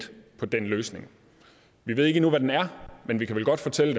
på den løsning vi ved ikke endnu hvad den er men vi kan vel godt fortælle